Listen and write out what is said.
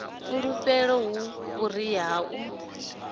fulufhelo hu vhuria ha u